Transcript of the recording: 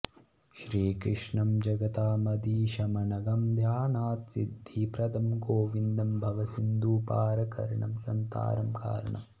श्री कृष्णं जगतामधीशमनघं ध्यानात्सिद्धिप्रदं गोविन्दं भवसिन्धुपारकरणं सन्तारणं कारणम्